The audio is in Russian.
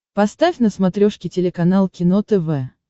поставь на смотрешке телеканал кино тв